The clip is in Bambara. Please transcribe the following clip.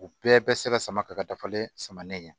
U bɛɛ bɛ se ka sama ka dafalen sama nin ye